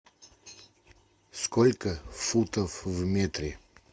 сколько футов в метре